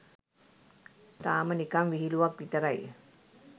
තාම නිකන් විහිලුවක් විතරයි.